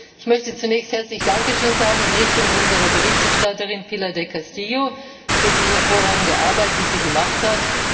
Ich möchte zunächst herzlich Dankeschön sagen in Richtung unserer Berichterstatterin, Pilar del Castillo Vera, für die hervorragende Arbeit, die sie geleistet hat.